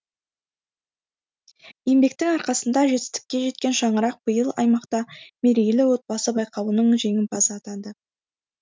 еңбектің арқасында жетістікке жеткен шаңырақ биыл аймақта мерейлі отбасы байқауының жеңімпазы атанды